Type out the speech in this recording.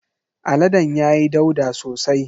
Aladen ya yi ɗauda sosai.